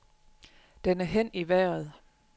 Den er hen i vejret.